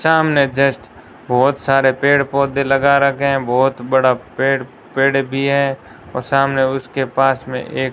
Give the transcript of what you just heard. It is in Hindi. सामने जस्ट बहोत सारे पेड़ पौधे लगा रखे हैं बहोत बड़ा पे पेड़ भी है और सामने उसके पास में एक --